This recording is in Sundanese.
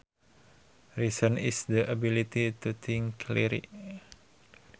Reason is the ability to think clearly